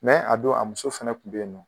a don a muso fɛnɛ kun bɛ ye nɔ.